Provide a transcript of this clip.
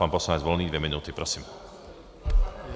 Pan poslanec Volný dvě minuty, prosím.